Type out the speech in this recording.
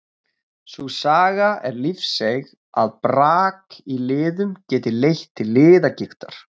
Sú saga er lífseiga að brak í liðum geti leitt til liðagigtar.